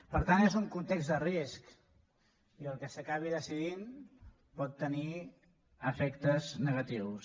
per tant és un context de risc i el que s’acabi decidint pot tenir efectes negatius